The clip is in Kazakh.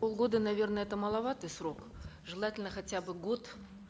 полгода наверно это маловатый срок желательно хотя бы год